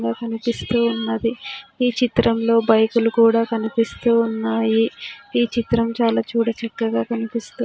ఇడ కనిపిస్తూ ఉన్నది ఈ చిత్రంలో బైకు లు కూడా కనిపిస్తూ ఉన్నాయి ఈ చిత్రం చాలా చూడచక్కగా కనిపిస్తూ --